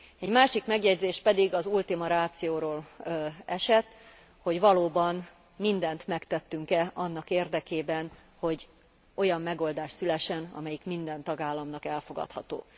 Egy másik megjegyzés pedig az ultima ratióról esett, hogy valóban mindent megtettünk e annak érdekében, hogy olyan megoldás szülessen, amelyik minden tagállamnak elfogadható.